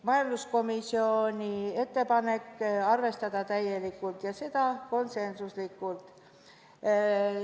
Majanduskomisjoni ettepanek oli arvestada seda muudatusettepanekut täielikult, ja seda konsensuslikult.